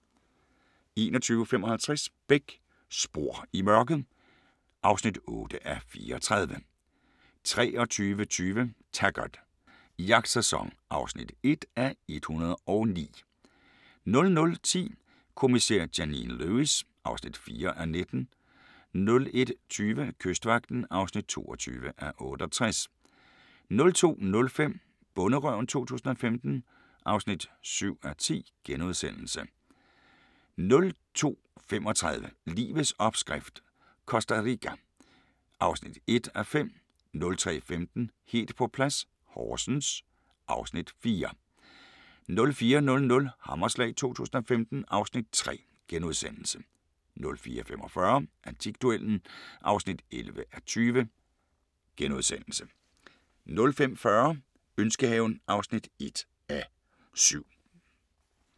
21:55: Beck: Spor i mørket (8:34) 23:20: Taggart: Jagtsæson (1:109) 00:10: Kommissær Janine Lewis (4:19) 01:20: Kystvagten (22:68) 02:05: Bonderøven 2015 (7:10)* 02:35: Livets opskrift - Costa Rica (1:5) 03:15: Helt på plads - Horsens (Afs. 4) 04:00: Hammerslag 2015 (Afs. 3)* 04:45: Antikduellen (11:20)* 05:40: Ønskehaven (1:7)